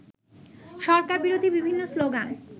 সরকারবিরোধী বিভিন্ন স্লোগান